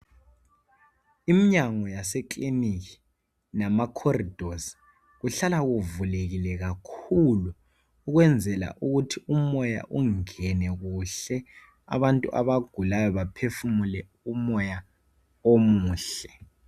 Imnyango yasekilinika lama khoridosi kuhlala kuvulekile kakhulu ukwenzela ukuthi umoya ungene kuhle abantu abagulayo baphefumule umoya omuhle.